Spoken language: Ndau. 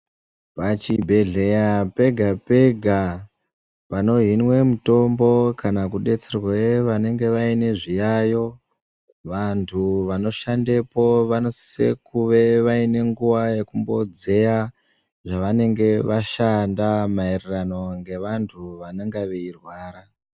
Pachibhedhleya pega-pega panohinwe mitombo kana kudetserwe vanenge vane zviyayo, vantu vanoshandepo vanosise kuve vaine nguwa yekumbodzeya zvavanenge vashanda maererano ngevantu vanenge veirwara.